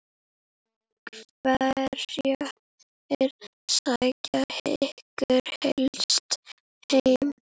Hverjir sækja ykkur helst heim?